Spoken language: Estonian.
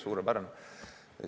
Suurepärane!